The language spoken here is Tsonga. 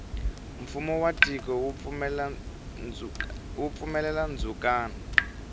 fumo wa tiko wu pfumelela ndzukano